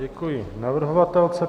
Děkuji navrhovatelce.